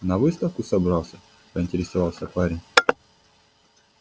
на выставку собрался поинтересовался парень